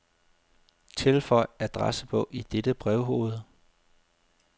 Tilføj adressebog i dette brevhoved.